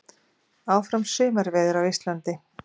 Áfram sumarveður á Íslandi